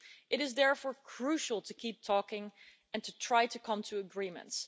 It is therefore crucial to keep talking and to try to come to agreements.